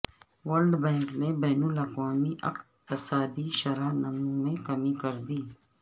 world Bank نے بین الاقوامی اقتصادی شرح نمو میں کمی کر دی